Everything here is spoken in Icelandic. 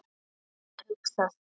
Að hugsa sér.